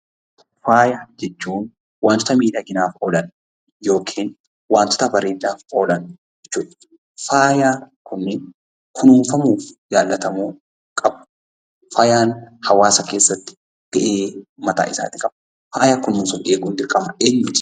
Faaya jechuun wantoota miidhaginaaf oolan yookiin wantoota bareedinaaf oolan jechuudha. Faayaan Kun kunuunfamuu fi jaalatamuu qabu. Faayaan hawaasa keessatti iddoo guddaa qaba.